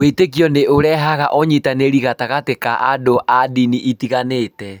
Wĩtĩkio nĩ ũrehaga ũnyitanĩri gatagatĩ ka andũ a ndini itiganĩte.